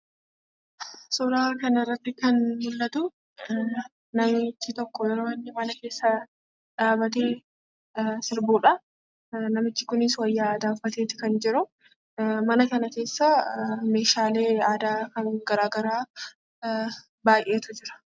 Suuraa kana irratti kan mul'atu, namichi tokko yeroo inni mana keessa dhaabatee sirbuudhaa. Namichi kunis wayyaa aadaa uffateeti kan jiru. Mana kana keessa meeshaalee aadaa kan garaagaraa baay'eetu jira.